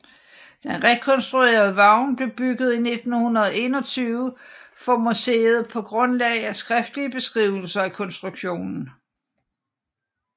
Den rekonstruerede vogn blev bygget i 1921 for museet på grundlag af skriftlige beskrivelser af konstruktionen